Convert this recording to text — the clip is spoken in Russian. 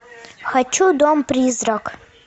хочу дом призрак